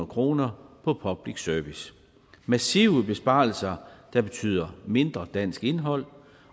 kroner på public service massive besparelser der betyder mindre dansk indhold